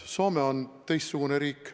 Soome on teistsugune riik.